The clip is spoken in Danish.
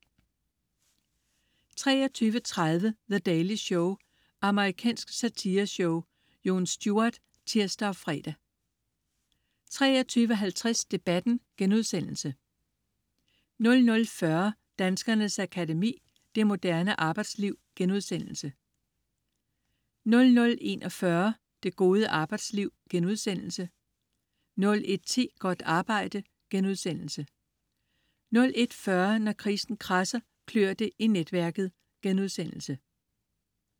23.30 The Daily Show. Amerikansk satireshow. Jon Stewart (tirs og fre) 23.50 Debatten* 00.40 Danskernes Akademi: Det moderne arbejdsliv* 00.41 Det gode arbejdsliv* 01.10 Godt arbejde* 01.40 Når krisen kradser, klør det i netværket*